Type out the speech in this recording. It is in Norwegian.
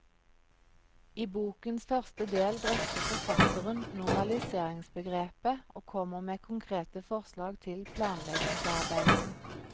I bokens første del drøfter forfatteren normaliseringsbegrepet og kommer med konkrete forslag til planleggingsarbeid.